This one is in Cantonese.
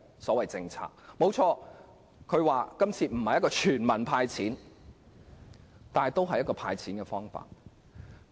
雖然政府表示今次並非全民"派錢"，但也是提出了"派錢"方案。